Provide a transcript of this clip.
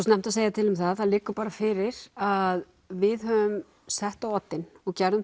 snemmt að segja til um það það liggur bara fyrir að við höfum sett á oddinn og gerðum